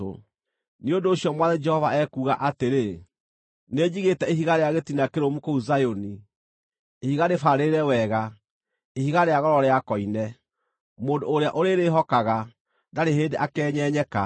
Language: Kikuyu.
Nĩ ũndũ ũcio Mwathani Jehova ekuuga atĩrĩ: “Nĩnjigĩte ihiga rĩa gĩtina kĩrũmu kũu Zayuni, ihiga rĩbaarĩrĩre wega, ihiga rĩa goro rĩa koine; mũndũ ũrĩa ũrĩrĩĩhokaga ndarĩ hĩndĩ akeenyenyeka.